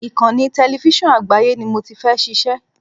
Ìkànnì tẹlẹfísọ̀n Àgbáyé ni mo ti fẹ́ ṣiṣẹ́.